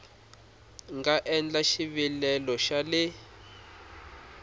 nga endla xivilelo xa le